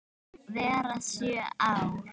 vera sjö ár!